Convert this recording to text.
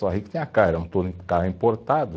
Só rico tinha carro, era carro importado.